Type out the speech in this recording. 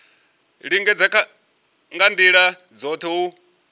lingedza nga ndila dzothe u